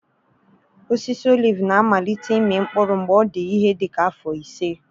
Osisi oliv na-amalite ịmị mkpụrụ mgbe ọ dị ihe dị ka afọ ise.